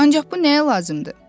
Ancaq bu nəyə lazımdır?